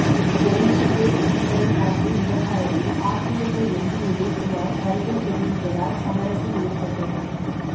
railway gate கீப்பரை தாக்கிய விவகாரத்தில் அதிமுக எம்பி உதயகுமார் வருத்தம் தெரிவித்ததால் சமரசம் ஏற்பட்டது